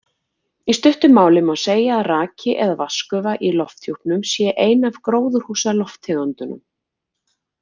Í stuttu máli má segja að raki eða vatnsgufa í lofthjúpnum sé ein af gróðurhúsalofttegundunum.